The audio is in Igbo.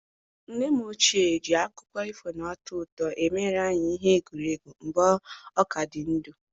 Nne m ochie ji akụkọ ifo na-atọ ụtọ emere anyị ihe egwuregwu mgbe ọ ka dị ndụ.